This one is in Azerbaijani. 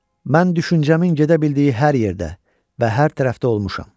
Mən düşüncəmin gedə bildiyi hər yerdə və hər tərəfdə olmuşam.